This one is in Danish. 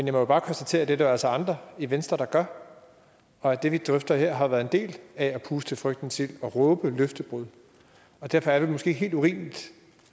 jo bare konstatere at det er der altså andre i venstre der gør og at det vi drøfter her har været en del af at puste til frygtens ild og råbe løftebrud derfor er det måske ikke helt urimeligt